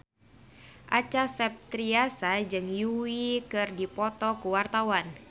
Acha Septriasa jeung Yui keur dipoto ku wartawan